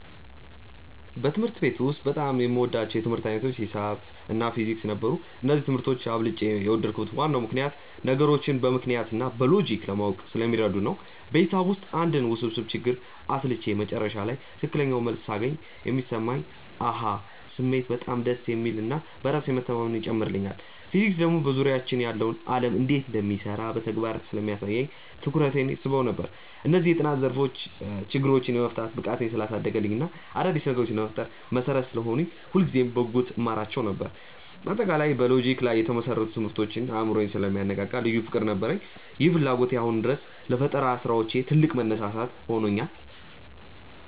በትምህርት ቤት ውስጥ በጣም የምወዳቸው የትምህርት ዓይነቶች ሒሳብ እና ፊዚክስ ነበሩ። እነዚህን ትምህርቶች አብልጬ የወደድኩበት ዋናው ምክንያት ነገሮችን በምክንያት እና በሎጂክ ለማወቅ ስለሚረዱ ነው። በሒሳብ ውስጥ አንድን ውስብስብ ችግር አስልቼ መጨረሻ ላይ ትክክለኛውን መልስ ሳገኝ የሚሰማኝ የ "አሃ" ስሜት በጣም ደስ የሚል እና በራስ መተማመንን ይጨምርልኛል። ፊዚክስ ደግሞ በዙሪያችን ያለው ዓለም እንዴት እንደሚሰራ በተግባር ስለሚያሳየኝ ትኩረቴን ይስበው ነበር። እነዚህ የጥናት ዘርፎች ችግሮችን የመፍታት ብቃቴን ስላሳደጉልኝ እና አዳዲስ ነገሮችን ለመፍጠር መሠረት ስለሆኑኝ ሁልጊዜም በጉጉት እማራቸው ነበር። በአጠቃላይ በሎጂክ ላይ የተመሰረቱ ትምህርቶች አእምሮን ስለሚያነቃቁ ልዩ ፍቅር ነበረኝ። ይህ ፍላጎቴ አሁንም ድረስ ለፈጠራ ስራዎች ትልቅ መነሳሳት ሆኖኛል።